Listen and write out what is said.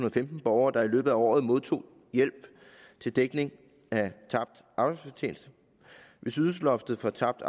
og femten borgere der i løbet af året modtog hjælp til dækning af tabt arbejdsfortjeneste hvis ydelsesloftet for tabt